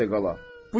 Eşşək də qala.